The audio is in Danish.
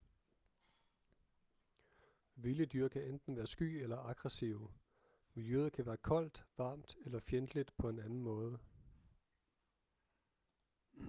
vilde dyr kan enten være sky eller aggressive miljøet kan være koldt varmt eller fjendtligt på en anden måde